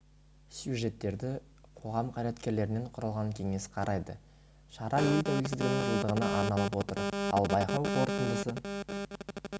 сюжеттерді қоғам қайраткерлерінен құралған кеңес қарайды шара ел тәуелсіздігінің жылдығына арналып отыр ал байқау қорытындысы